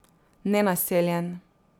Nenaseljen.